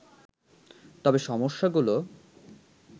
তবে সমস্যাগুলো